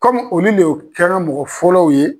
Kɔmi olu le yo kɛra mɔgɔ fɔlɔw ye.